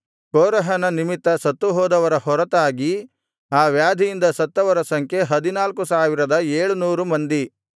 ಕೋರಹನ ನಿಮಿತ್ತ ಸತ್ತುಹೋದವರ ಹೊರತಾಗಿ ಆ ವ್ಯಾಧಿಯಿಂದ ಸತ್ತವರ ಸಂಖ್ಯೆ ಹದಿನಾಲ್ಕು ಸಾವಿರದ ಏಳುನೂರು ಮಂದಿ